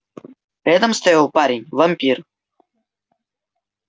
рядом стоял парень-вампир